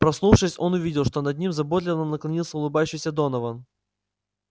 проснувшись он увидел что над ним заботливо наклонился улыбающийся донован